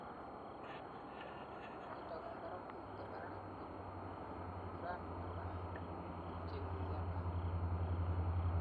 ngoindangung korak komitei barak angot kokiran konomei tubjetngung miondo